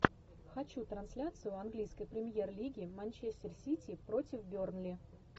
хочу трансляцию английской премьер лиги манчестер сити против бернли